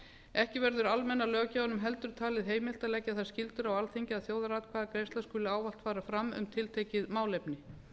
ekki verður almenna löggjafanum heldur talið heimilt að leggja þær skyldur á alþingi að þjóðaratkvæðagreiðsla skuli almennt fara fram um tiltekið málefni